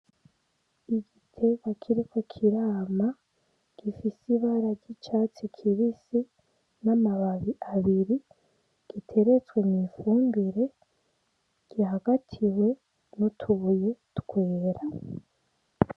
Igiterwa kiriko k'irama gifise ibara ry'icatsi kibisi, n'amababi abiri giteretswe mw'ifumbire gihagatiye n'utubuye twera.